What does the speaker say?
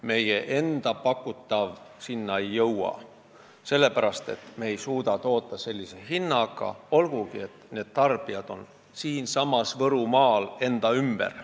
Meie enda pakutav sinna ei jõua, sellepärast et me ei suuda toota sellise hinnaga, olgugi et tarbijad on Võrumaal meie ümber.